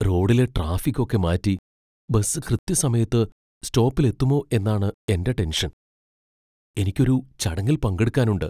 റോഡിലെ ട്രാഫിക് ഒക്കെ മാറ്റി ബസ് കൃത്യസമയത്ത് സ്റ്റോപ്പിൽ എത്തുമോ എന്നാണ് എന്റെ ടെൻഷൻ എനിക്ക് ഒരു ചടങ്ങിൽ പങ്കെടുക്കാനുണ്ട്.